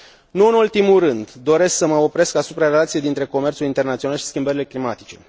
Nu în ultimul rând, doresc să mă opresc asupra relației dintre comerțul internațional și schimbările climatice.